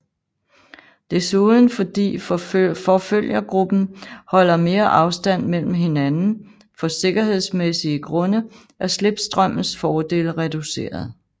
Desuden fordi forfølgergruppen holder mere afstand mellem hinanden for sikkerhedsmæssige grunde er slipstrømmens fordele reduceret